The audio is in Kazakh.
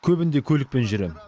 көбінде көлікпен жүрем